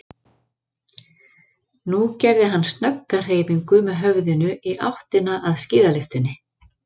Nú gerði hann snögga hreyfingu með höfðinu í áttina að skíðalyftunni.